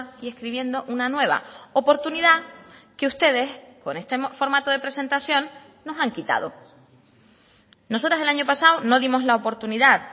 y escribiendo una nueva oportunidad que ustedes con este formato de presentación nos han quitado nosotras el año pasado no dimos la oportunidad